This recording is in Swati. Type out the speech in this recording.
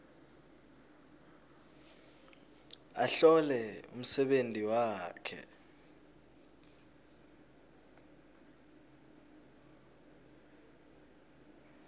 ahlole umsebenti wakhe